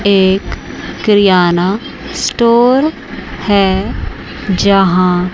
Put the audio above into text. एक क्रियाना स्टोर है जहां--